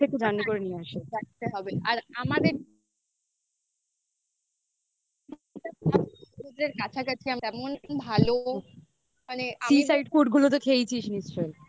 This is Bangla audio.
নিয়ে আসি. থাকতে হবে. sea side food গুলো তো খেয়েছিস নিশ্চয়ই.